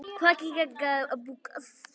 Kveikir líka í sumum.